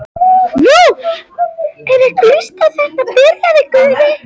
Nú, ef ykkur líst ekki á þetta. byrjaði Guðni.